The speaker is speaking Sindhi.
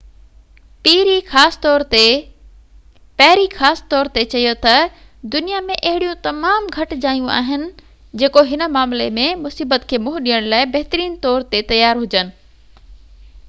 پيري خاص طور تي چيو تہ دنيا ۾ اهڙيون تمام گهٽ جايون آهن جيڪو هن معاملي ۾ مصيبت کي منهن ڏيڻ لاءِ بهتر طور تي تيار هجن